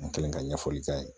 N kɛlen ka ɲɛfɔli k'a ye